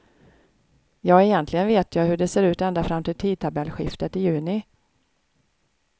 Ja, egentligen vet jag hur det ser ut ända fram till tidstabellskiftet i juni.